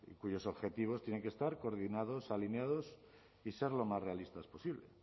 cuyos objetivos tienen que estar coordinados alineados y ser lo más realistas posible